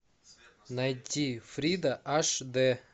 найти фрида аш дэ